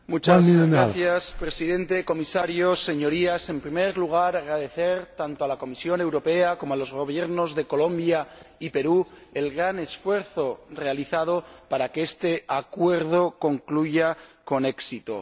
Señor Presidente, señor Comisario, Señorías, en primer lugar quiero agradecer tanto a la Comisión Europea como a los Gobiernos de Colombia y Perú el gran esfuerzo realizado para que este Acuerdo concluya con éxito.